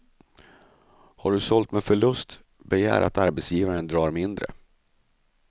Har du sålt med förlust, begär att arbetsgivaren drar mindre.